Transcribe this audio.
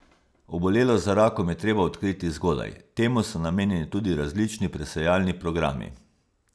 Obolelost za rakom je treba odkriti zgodaj, temu so namenjeni tudi različni presejalni programi.